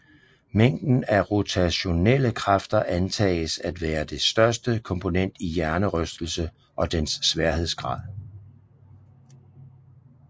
Mængden af rotationelle kræfter antages at være det største komponent i hjernerystelse og dens sværhedsgrad